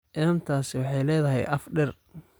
Inantaasi waxay leedahay af dheer